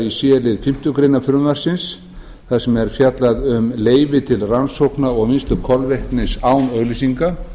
í c lið fimmtu grein frumvarpsins þar sem er fjallað um leyfi til rannsókna og vinnslu kolvetnis án auglýsinga